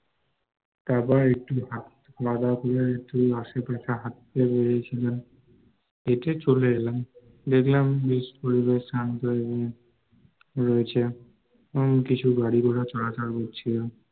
তারপর একটু খাওয়া দাওয়া করে একটু আশেপাশে হাটতে বেরিয়েছিলাম, হেটে চলে এলাম, দেখলাম পরিবেশ শান্ত এবং রয়েছে, তেমন কিছু গাড়িঘোড়া চলাচল করছিলো